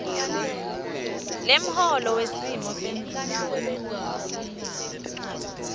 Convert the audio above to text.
lemholo wesimo senzuzo